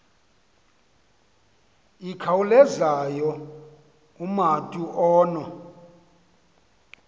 ikhawulezayo umatu ono